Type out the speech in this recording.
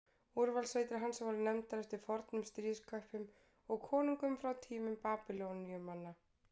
úrvalssveitir hans voru nefndar eftir fornum stríðsköppum og konungum frá tímum babýloníumanna